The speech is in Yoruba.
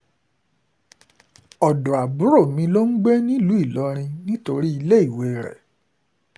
ọ̀dọ́ àbúrò mi ló ń gbé nílùú ilorin nítorí iléèwé ẹ̀